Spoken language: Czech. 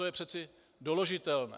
To je přece doložitelné.